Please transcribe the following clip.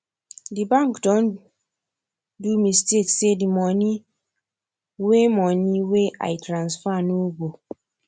d bank don do mistake say d moni wey moni wey i transfer nor go